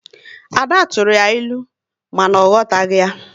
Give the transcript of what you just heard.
Ada tụrụ ya ịlụ, mana ọ aghọtaghị ya